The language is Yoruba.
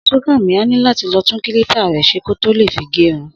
Súnkànmí á ní láti tún kílípà rẹ̀ ṣe kó tó lè fi gẹrun